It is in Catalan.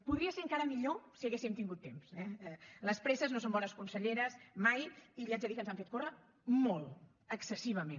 podria ser encara millor si haguéssim tingut temps eh les presses no són bones conselleres mai i li haig de dir que ens han fet córrer molt excessivament